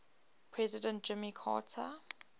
president jimmy carter